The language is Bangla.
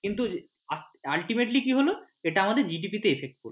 কিন্তু ultimately কি হল সেটা আমাদের GDP তে effect পড়ল।